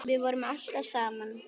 Við vorum alltaf saman.